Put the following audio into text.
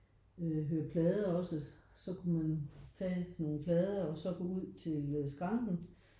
Øh høre plader også så kunne man tage en plade og så gå ud til skranken